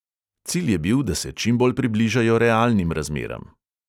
Cilj je bil, da se čim bolj približajo realnim razmeram.